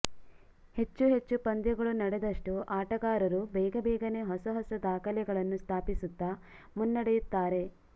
ಹೆಚ್ಚು ಹೆಚ್ಚು ಪಂದ್ಯಗಳು ನಡೆದಷ್ಟು ಆಟಗಾರರು ಬೇಗಬೇಗನೆ ಹೊಸ ಹೊಸ ದಾಖಲೆಗಳನ್ನು ಸ್ಥಾಪಿಸುತ್ತಾ ಮುನ್ನಡೆಯುತ್ತಾರೆ